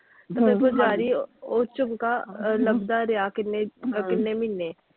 ਪੁਜਾਰੀ ਉਹ ਉਹ ਝੁਮਕਾ ਲੱਭਦਾ ਰਿਹਾ ਕਿੰਨੇ ਕਿੰਨੇ ਮਹੀਨੇ।